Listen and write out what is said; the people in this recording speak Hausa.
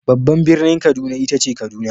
Babban birnin Kaduna ita ce Kaduna.